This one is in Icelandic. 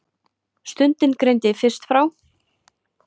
Stundin greindi fyrst frá.